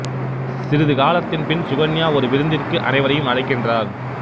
சிறிது காலத்தின் பின் சுகன்யா ஒரு விருந்திற்கு அனைவரையும் அழைக்கின்றார்